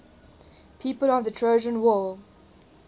people of the trojan war